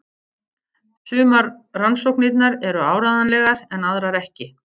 Sumar rannsóknirnar eru áreiðanlegar en aðrar ekki.